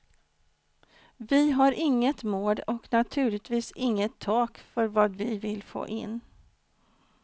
Vi har inget mål och naturligtvis inget tak för vad vi vill få in.